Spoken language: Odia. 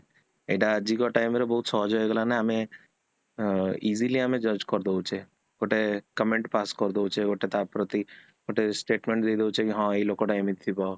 ସେଟା ଆଜିକ time ରେ ବହୁତ ସହଜ ହେଇଗଲା ନା ଆମେ ଅ easily ଆମେ judge କରିଦୋଉଛେ ଗୋଟେ comment pass କରି ଦେଉଛେ ଗୋଟେ ତା ପ୍ରତି ଗୋଟେ statement ଦେଇଦୋଉଛେ କି ହଁ ଏଇ ଲୋକଟା ଏମିତିଥିବ